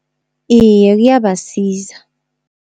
Iye kuyabasiza.